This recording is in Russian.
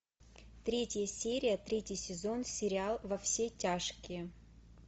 третья серия третий сезон сериал во все тяжкие